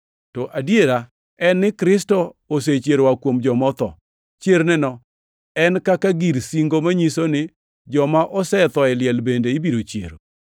To adiera en ni Kristo osechier oa kuom joma otho. Chierneno en kaka gir singo manyiso ni joma osetho e liel bende ibiro chiero.